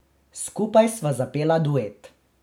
Skupaj sva zapela duet.